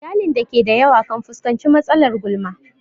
Iyalin da ke da yawa kan fuskanci matsalar gulma.